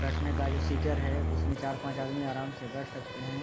बैठने का जो सीटर है उसमें चार-पांच आदमी आराम से बैठ सकते हैं।